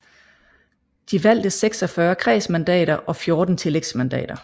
De valgte 46 kredsmandater og 14 tillægsmandater